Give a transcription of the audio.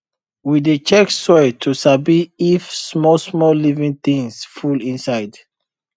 we dey check soil to sabi if smallsmall living things full inside